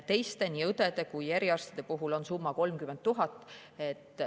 Teiste, nii õdede kui ka eriarstide puhul, on summa 30 000.